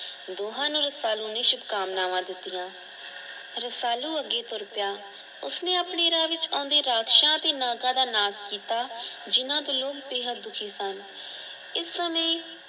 ਦੋਹਾਂ ਨੇ ਰਸੁਲਾ ਨੂੰ ਸ਼ੁਭਕਾਮਨਾ ਦਿੱਤੀਆਂ ਰਸਾਲੂ ਅੱਗੇ ਤੂਰ ਪਿਆ ਉਸਨੇ ਆਪਣੇ ਰਾਹ ਵਿੱਚ ਔਂਦੇ ਰਾਕਸ਼ਾ ਤੇ ਨਾਗਾਂ ਦਾ ਨਾਸ਼ ਕੀਤਾ ਜਿੰਨਾ ਵੱਲੋਂ ਵੇਹਦ ਦੁੱਖੀ ਸਨ ਇਸ ਸਮੇਂ